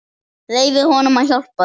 Leyfðu honum að hjálpa þér.